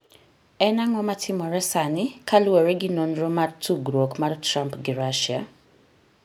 En ang'o matimore sani kaluwore gi nonro mar tudruok mar Trump gi Russia?